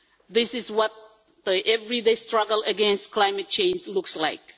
This is what the everyday struggle against climate change looks like.